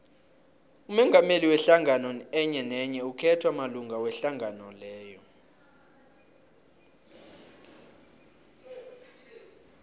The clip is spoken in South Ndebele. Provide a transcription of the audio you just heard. umongameli wehlangano enyenenye ukhethwa malunga wehlangano leyo